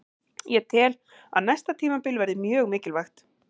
Ég tel að næsta tímabil verði mjög mikilvægt.